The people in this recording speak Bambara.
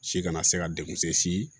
Si kana se ka dekun se